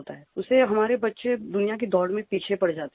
उससे हमारे बच्चे दुनिया की दौड़ में पीछे पड़ जाते हैं